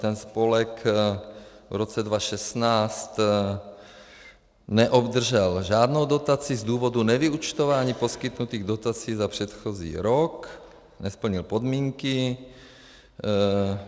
Ten spolek v roce 2016 neobdržel žádnou dotaci z důvodu nevyúčtování poskytnutých dotací za předchozí rok, nesplnil podmínky.